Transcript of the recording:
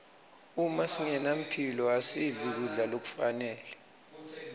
uma singenamphilo asidli kudla lokufanele